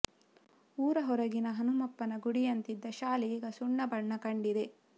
ಊರ ಹೊರಗಿನ ಹನುಮಪ್ಪನ ಗುಡಿಯಂತಿದ್ದ ಶಾಲೆ ಈಗ ಸುಣ್ಣ ಬಣ್ಣ ಕಂಡಿದೆ